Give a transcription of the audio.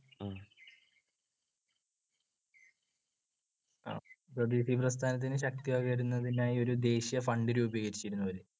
സ്വദേശിപ്രസ്ഥാനത്തിന് ശക്തിപകരുന്നതിനായി ഒരു ദേശീയ fund രൂപീകരിച്ചിരുന്നു അവര്